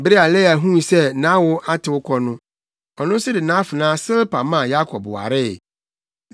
Bere a Lea huu sɛ nʼawo atew kɔ no, ɔno nso de nʼafenaa Silpa maa Yakob waree.